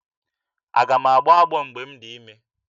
Aga m agbọ ọgbọ mgbe m dị ime?